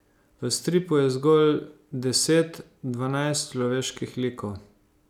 V stripu je zgolj deset, dvanajst človeških likov.